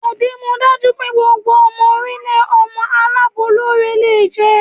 O dimudaju pe gbogbo omo orilee omo alabolore le je.